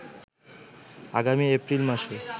আগামী এপ্রিল মাসে